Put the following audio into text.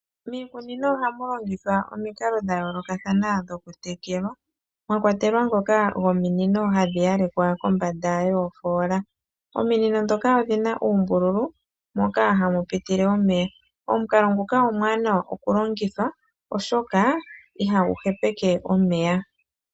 Miikunino oha mulongithwa omikalo dhayooloka thanwa okutekela, mwakwatelwa dhoka dhominino ha dhiyalekwa kombanda yoofoola, omukalo ngoka omuwanawa oshoka ihagu hepeke omeya